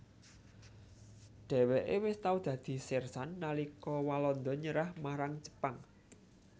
Dhèwèké wis tau dadi sérsan nalika Walanda nyerah marang Jepang